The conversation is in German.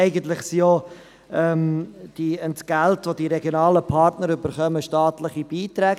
Eigentlich sind ja die Entgelte, welche die regionalen Partner erhalten, staatliche Beiträge.